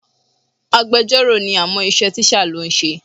Agbejọ́rò ni àmọ́ iṣẹ́ tíṣà ló ń ṣe.